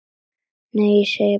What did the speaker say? Nei, ég segi bara svona.